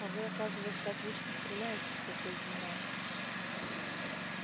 а вы оказывается отлично стреляете спросил генерал